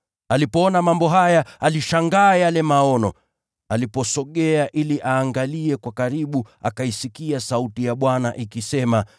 Alipoona mambo haya, alishangaa yale maono. Aliposogea ili aangalie kwa karibu, akaisikia sauti ya Bwana, ikisema: